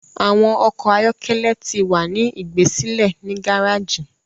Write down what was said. Awọn ọkọ ayọkẹlẹ tí wá ní igbesile ni gàràgii